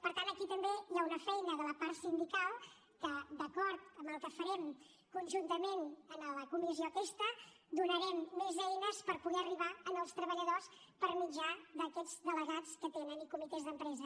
per tant aquí també hi ha una feina de la part sindical que d’acord amb el que farem conjuntament en la comissió aquesta donarem més eines per poder arribar als treballadors per mitjà d’aquests delegats que tenen i comitès d’empresa